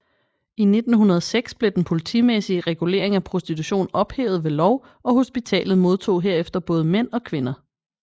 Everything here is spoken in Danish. I 1906 blev den politimæssige regulering af prostitution ophævet ved lov og hospitalet modtog derefter både mænd og kvinder